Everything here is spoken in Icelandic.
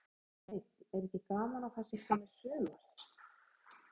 Kjartan Hreinn: Er ekki gaman að það sé komið sumar?